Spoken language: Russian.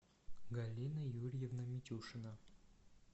галина юрьевна митюшина